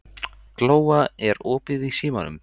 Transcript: Glóa, er opið í Símanum?